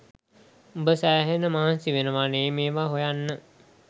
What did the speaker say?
උඹ සැහෙන මහන්සි වෙනවනේ මේවා හොයන්න